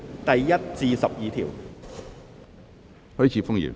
第1至12條。